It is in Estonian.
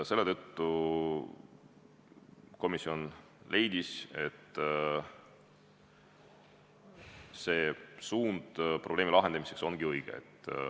Selle tõttu komisjon leidis, et suund probleemi lahendamisel on õige.